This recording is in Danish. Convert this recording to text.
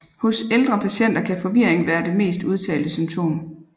Hos ældre patienter kan forvirring være det mest udtalte symptom